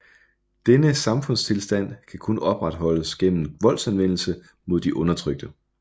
Denne samfundstilstand kan kun opretholdes gennem voldsanvendelse mod de undertrykte